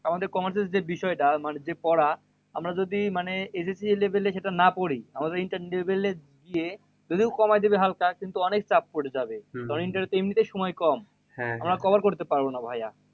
আমাদের commerce এর যে বিষয় টা মানে যে পড়া? আমরা যদি মানে SSC level এ সেটা না পড়ি, আমাদের inter level এ গিয়ে যদিও করা যাবে হালকা কিন্তু অনেক চাপ পরে যাবে। তখন inter এ এমনিতেই সময় কম আমরা cover করতে পারবোনা ভাইয়া।